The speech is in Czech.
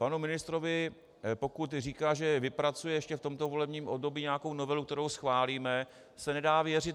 Panu ministrovi, pokud říká, že vypracuje ještě v tomto volebním období nějakou novelu, kterou schválíme, se nedá věřit.